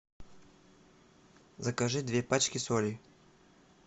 закажи две пачки соли